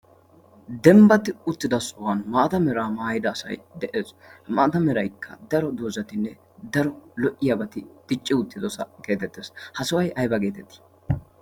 dembbati uttido sohuwan maatamiraa maayida asai de'ees ha maata meraykka daro doozatinne daro lo''iyaabati dicci uttidosa geetettees ha sohuwai ayba geetettii